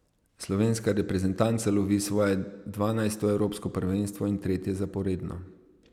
Slovenska reprezentanca lovi svoje dvanajsto evropsko prvenstvo in tretje zaporedno.